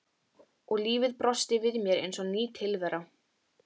Og lífið brosti við mér eins og ný tilvera.